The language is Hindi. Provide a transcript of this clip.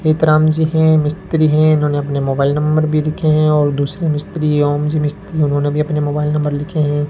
हेतराम जी हैं मिस्त्री है इन्होंने अपने मोबाइल नंबर भी लिखे हैं और दूसरे मिस्त्री ओम जी मिस्त्री उन्होंने भी अपने मोबाइल नंबर लिखे हैं।